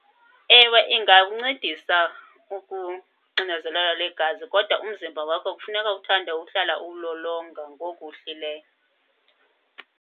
Ewe, ingawuncedisa ukuxinezeleka lwegazi kodwa umzimba wakho kufuneka uthande uhlala uwulolonga ngoku uhlileyo.